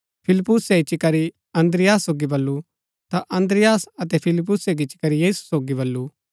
फिलिप्पुसे इच्ची करी अन्द्रियास सोगी बल्लू ता अन्द्रियास अतै फिलिप्पुसे गिच्ची करी यीशु सोगी बल्लू